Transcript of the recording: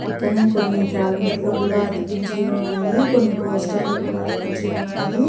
పక్కనే కొన్ని క్యాలెండరు లు కూడా అతికించి వున్నాయి కొన్ని పోస్టర్ లు కూడా అతికించి వున్నాయి.